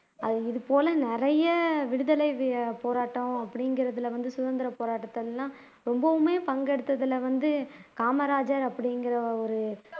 அ இதுபோல நிறைய விடுதலைபோராட்டம் அப்படிங்கிறதுல வந்து சுதந்திரப்போராட்டத்தை எல்லாம் ரொம்பவுமே பங்கேடுத்ததுல வந்து காமராஜர் அப்படிங்கிற ஒரு